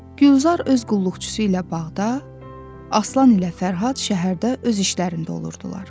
Gülzar öz qulluqçusu ilə bağda, Aslan ilə Fərhad şəhərdə öz işlərində olurdular.